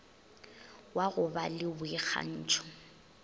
wa go ba le boikgantšho